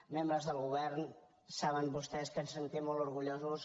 membres del govern saben vostès que ens sentim molt orgullosos